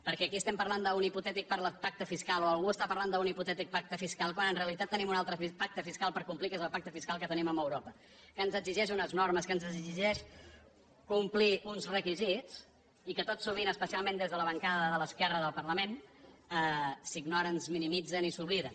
per·què aquí parlem d’un hipotètic pacte fiscal o algú par·la d’un hipotètic pacte fiscal quan en realitat tenim un altre pacte fiscal per complir que és el pacte fiscal que tenim amb europa que ens exigeix unes normes que ens exigeix complir uns requisits i que tot sovint espe·cialment des de la bancada de l’esquerra del parlament s’ignoren es minimitzen i s’obliden